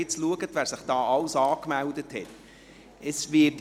Wenn Sie nun schauen, wer sich alles angemeldet hat!